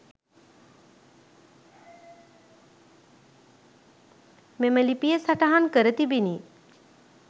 මෙම ලිපිය සටහන් කර තිබිණි